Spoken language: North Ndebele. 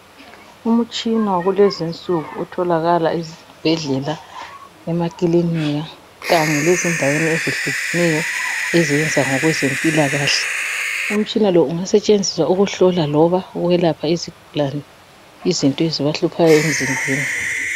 Umutshina wakulezinsuku otholakala ezibhedlela, emakilinika kanye lezindaweni ezehlukenyo ezenza ngokwezempilakahle umtshina lowu ungasetshenziswa ukuhlola loba ukwelapha izigulane izinto eziba hluphayo emzimbeni.